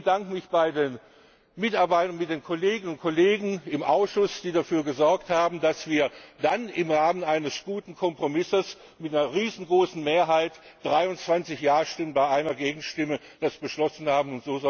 Ich bedanke mich bei den Mitarbeiterinnen und Mitarbeitern, bei den Kolleginnen und Kollegen im Ausschuss, die dafür gesorgt haben, dass wir das im Rahmen eines guten Kompromisses mit einer riesengroßen Mehrheit 23 Ja Stimmen bei einer Gegenstimme beschlossen haben.